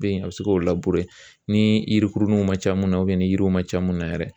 Be yen a be se k'o ni yirikuruninw ma ca mun na ni yiriw ma ca mun na yɛrɛ